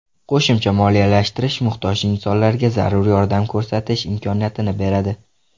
Qo‘shimcha moliyalashtirish muhtoj insonlarga zarur yordam ko‘rsatish imkoniyatini beradi.